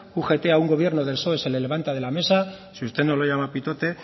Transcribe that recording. ugt a un gobierno del psoe se le levanta de la mesa si usted no lo llama pitote